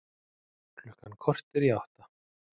Klukkan korter í átta